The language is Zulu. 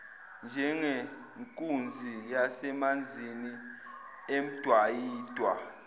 njengenkunzi yasemanzini emdwayidwa